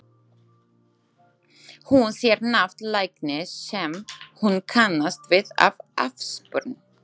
Hún sér nafn læknis sem hún kannast við af afspurn.